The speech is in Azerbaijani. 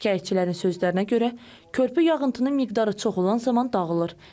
Şikayətçilərin sözlərinə görə, körpü yağıntının miqdarı çox olan zaman dağılır.